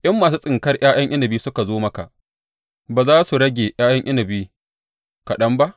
In masu tsinkar ’ya’yan inabi suka zo maka, ba za su rage ’ya’yan inabi kaɗan ba?